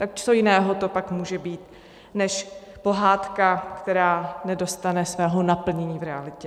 Tak co jiného to pak může být než pohádka, která nedostane svého naplnění v realitě?